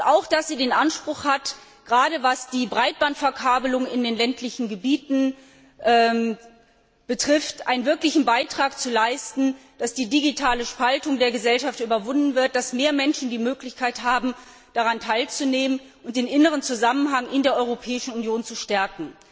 Und auch, dass sie den Anspruch hat gerade was die Breitbandverkabelung in den ländlichen Gebieten betrifft einen wirklichen Beitrag dazu zu leisten, dass die digitale Spaltung der Gesellschaft überwunden wird und mehr Menschen die Möglichkeit haben, daran teilzunehmen und den inneren Zusammenhang in der Europäischen Union zu stärken.